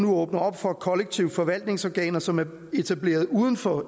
åbner op for at kollektiv forvaltnings organer som er etableret uden for